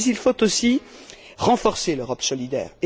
Mais, il faut, aussi, renforcer l'Europe solidaire.